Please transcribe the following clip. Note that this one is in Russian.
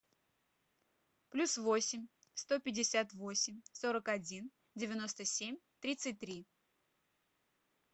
плюс восемь сто пятьдесят восемь сорок один девяносто семь тридцать три